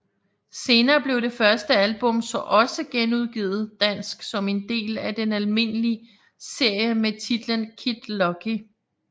Senere blev det første album så også genudgivet dansk som en del af den almindelige serie med titlen Kid Lucky